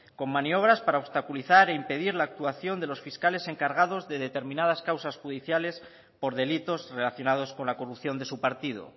con maniobras para obstaculizar e impedir la actuación de los fiscales encargados de determinadas causas judiciales por delitos relacionados con la corrupción de su partido